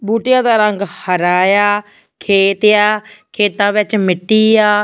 ਬੂਟਿਆਂ ਦਾ ਰੰਗ ਹਰਾ ਇਆ ਖੇਤ ਏ ਆ ਖੇਤਾਂ ਵਿੱਚ ਮਿੱਟੀ ਆ।